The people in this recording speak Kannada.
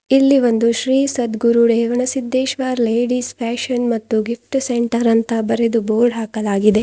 ಇಲ್ಲಿ ಒಂದು ಶ್ರೀ ಸದ್ಗುರು ರೇವಣ್ಣ ಸಿದ್ದೇಶ್ವರ್ ಲೇಡಿಸ್ ಫ್ಯಾಶನ್ ಮತ್ತು ಗಿಪ್ಟು ಸೆಂಟರ್ ಅಂತ ಬರೆದು ಬೋರ್ಡ್ ಹಾಕಲಾಗಿದೆ.